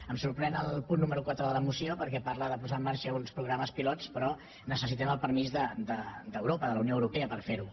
em sorprèn el punt número quatre de la moció perquè parla de posar en marxa uns programes pilot però necessitem el permís d’europa de la unió europea per fer ho